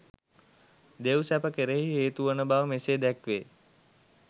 දෙව්සැප කෙරෙහි හේතුවන බව මෙසේ දැක්වේ.